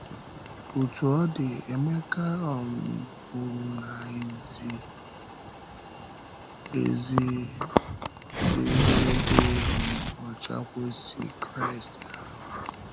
Òtù ọ dị, Emeka um kwùrù na ‘ìzì um ezi na ịdị um ọcha kwesị̀ Kraịst ahụ.’